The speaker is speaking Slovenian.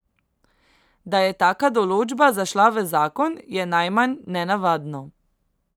Da je taka določba zašla v zakon, je najmanj nenavadno.